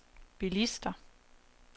bilister